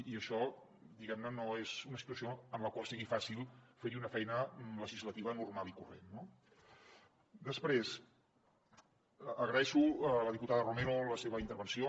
i això diguem ne no és una situació en la qual sigui fàcil fer hi una feina legislativa normal i corrent no després agraeixo a la diputada romero la seva intervenció